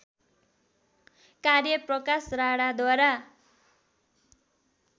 कार्य प्रकाश राणाद्वारा